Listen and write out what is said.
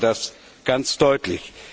Die zeigen das ganz deutlich.